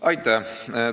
Aitäh!